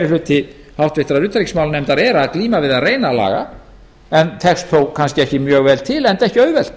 hluti háttvirtrar utanríkismálanefndar er að glíma við að laga en tekst þó kannski ekki mjög vel til enda ekki auðvelt